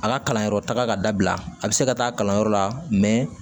A ka kalanyɔrɔ taga ka dabila a bɛ se ka taa kalanyɔrɔ la